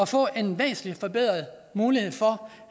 få en væsentlig forbedret mulighed for